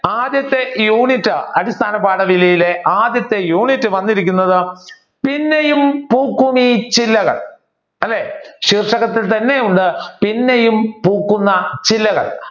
ആദ്യത്തെ യൂണിറ്റ് അടിസ്ഥാന പാഠവലിയിലെ ആദ്യത്തെ യൂണിറ്റ് വന്നിരിക്കുന്നത് പിന്നെയും പൂക്കും ഈ ചില്ലകൾ അല്ലെ ഉള്ള പിന്നെയും പൂക്കുന്ന ചില്ലകൾ